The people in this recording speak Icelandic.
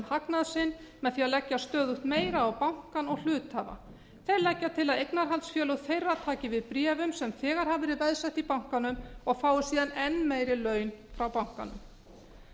hagnað sinn með því að leggja stöðugt meira á bankann en hluthafa þeir leggja til að eignarhaldsfélög þeirra taki við bréfum sem þegar hafa verið veðsett í bankanum og fái síðan enn meiri laun frá bankanum